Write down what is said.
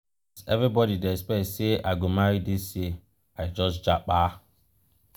as everbody dey expect sey i go marry dis year i just japa.